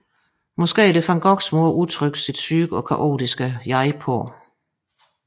Måske er det van Goghs måde at udtrykke sit syge og kaotiske jeg på